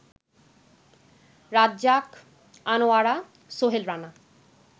Razzak, Anwara, Sohel Rana